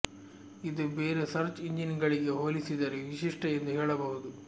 ಇದು ಬೇರೆ search engine ಗಳಿಗೆ ಹೋಲಿಸಿದರೆ ವಿಶಿಷ್ಟ ಎಂದು ಹೇಳಬಹುದು